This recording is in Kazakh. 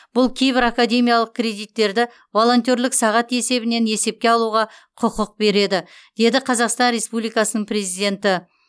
бұл кейбір академиялық кредиттерді волонтерлік сағат есебінен есепке алуға құқық береді деді қазақстан республикасының президенті